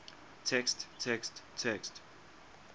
text text text